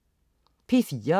P4: